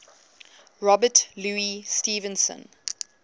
robert louis stevenson